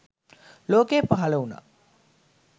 ලෝකයේ පහළ වුණා.